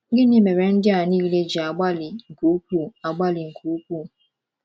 Gịnị mere ndị a nile ji agbalị nke ukwuu agbalị nke ukwuu?